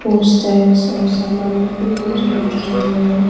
और सामान लोग भी बहुत ज्यादा दिखाई दे रहे हैं।